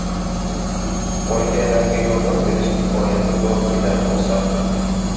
Bolakaylarga yordam berish imkoniyatim borligidan xursandman.